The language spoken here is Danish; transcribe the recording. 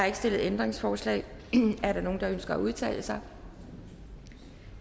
ikke stillet ændringsforslag er der nogen der ønsker at udtale sig